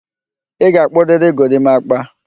Ị ga-akpụrịrị gorimakpa!